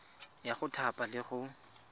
ya go thapa le go